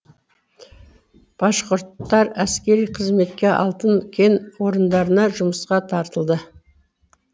башқұрттар әскери қызметке алтын кен орындарына жұмысқа тартылды